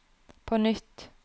på nytt